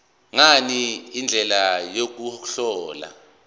ngani indlela yokuhlola